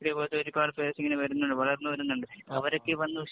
ഇതേപോലത്തെ ഒരു പാട് പേര്‍ക്കിങ്ങനെ വരുന്നുണ്ട്. വളര്‍ന്നു വരുന്നുണ്ട്. വരൊക്കെ വന്നു